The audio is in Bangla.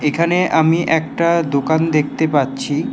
এখানে আমি একটা দোকান দেখতে পাচ্ছি।